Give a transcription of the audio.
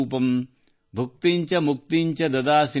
ಭುಕ್ತಿಂ ಚ ಮುಕ್ತಿಂ ಚ ದದಾಸಿ ನಿತ್ಯಂ